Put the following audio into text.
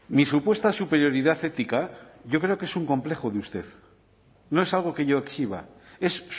mi supuesta superioridad ética yo creo que es un complejo de usted no es algo que yo exhiba es